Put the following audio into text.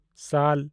ᱥᱟᱞ